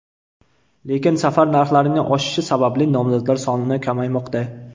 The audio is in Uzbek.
Lekin safar narxlarining oshishi sababli nomzodlar soni kamaymoqda.